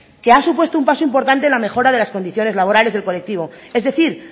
que ha supuesto un paso importante en la mejora de las condiciones laborales del colectivo es decir